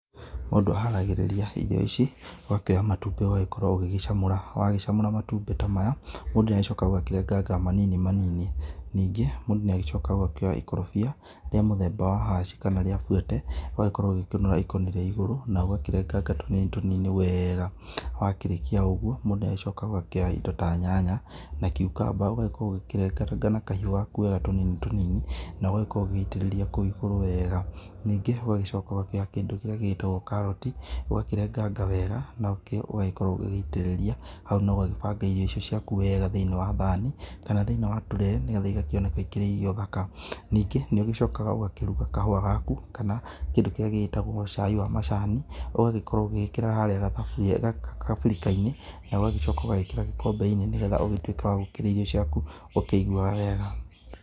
Mũndũ aharagĩrĩria irio ici, ũgakioya matumbĩ ũgagíkorwo ũgĩgĩcamũra, wagĩcamũra matumbĩ ta maya. Mũndũ nĩ agĩcokaga ũkarenganga manini manini, ningĩ mũndũ nĩ agĩcokaga ũgakioya ikorobia rĩa mũthemba wa haci kana rĩa buete. Ũgagĩkorwo ũgĩkĩũnũra ikoro rĩa igũrũ na ũgakĩrenganga tũnini tũnini wega. Wa kĩrĩkia ũguo mũndũ agĩcokaga ũkoya indo ta nyanya na cucumber ũgagĩkorwo ũgĩkĩrenganga na kahiũ gaku wega tũnini tũnini, na ũgagĩkorwo ũgĩgĩitĩrĩria kũu igũrũ wega. Ningĩ ũgacoka ũgakĩoya kĩndũ kĩrĩa gĩgĩtagwo karoti ũgakĩrenganga wega nakĩo ũgakorwo ũgĩitĩrĩria hau na ũgabanga irio icio ciaku wega thiinĩ wa thani. Kana thĩini wa tũre nĩ getha igakĩoneka ikĩrĩ irio thaka, ningĩ nĩ ũgĩcokaga ũgakĩruga kahũa gaku kana kĩndũ kĩrĩa gĩgĩtagwoi cai wa macani. Ũgagĩkorwo ugĩgĩkĩra harĩa kabirika-inĩ na ũgagĩcoka ũgagĩkĩra gĩkombe-inĩ nĩ getha ũgĩtuĩke wa gũkĩrĩa irio ciaku ũkĩiguaga wega.